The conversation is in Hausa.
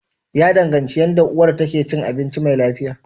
Ya danganci yanda uwar ta ke cin abinci mai lafiya.